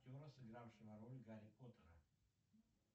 актера сыгравшего роль гарри поттера